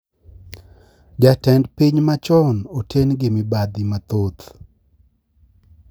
Jatend piny machon oten gi mibadhi mathoth